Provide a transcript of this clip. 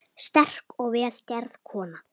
Sterk og vel gerð kona.